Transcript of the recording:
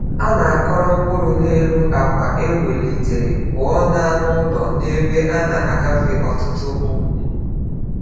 Na-akọrọ mkpụrụ n’elu akwa e welitere, pụọ na anụ ụlọ na ebe a na-agafe ọtụtụ ụkwụ.